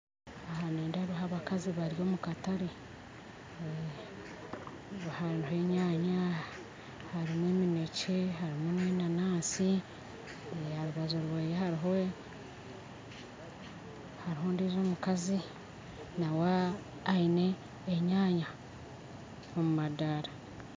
Aha nindeebaho abakazi bari omu katare aha hariho enyaanya harimu eminekye harimu na enanasi harubaju rwaye hariho hariho ondijo omukazi nauwe aine enyaanya omu madaara